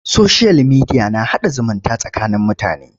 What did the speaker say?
Soshiyal mediya na haɗa zumunta tsakanin mutane.